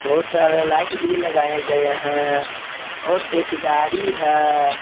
बहुत सारे लाइट भी लगाए गए हैं और एक गाड़ी है।